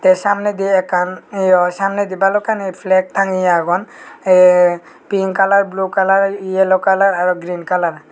te samnedi ekkan yo samnedi balokkani flag tangeye agon ey pink kalar blue kalar yellow kalar aro green kalar .